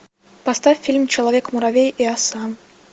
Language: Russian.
поставь фильм человек муравей и оса